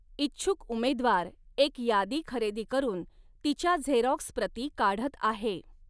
इच्छुक उमेदवार एक यादी खरेदी करून तिच्या झेरॉक्स प्रती काढत आहे.